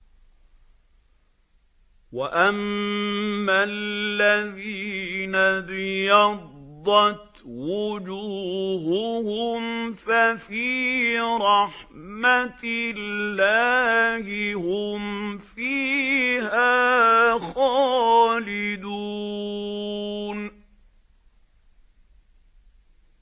وَأَمَّا الَّذِينَ ابْيَضَّتْ وُجُوهُهُمْ فَفِي رَحْمَةِ اللَّهِ هُمْ فِيهَا خَالِدُونَ